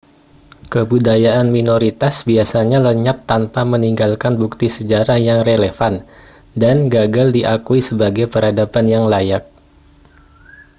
kebudayaan minoritas biasanya lenyap tanpa meninggalkan bukti sejarah yang relevan dan gagal diakui sebagai peradaban yang layak